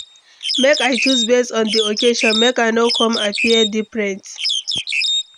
Make i choose base on di occasion, make i no come appear different.